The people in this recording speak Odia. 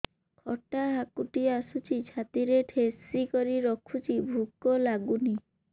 ଖଟା ହାକୁଟି ଆସୁଛି ଛାତି ଠେସିକରି ରଖୁଛି ଭୁକ ଲାଗୁନି